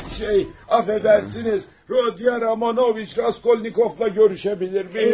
Şey, əfəndisiniz, Rodion Romanoviç Raskolnikovla görüşə bilərəmmi?